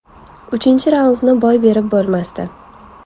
Uchinchi raundni boy berib bo‘lmasdi.